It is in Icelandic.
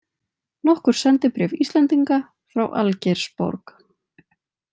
Nokkur sendibréf Íslendinga frá Algeirsborg.